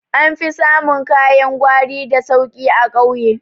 An fi samun kayan gwari da sauki a ƙauye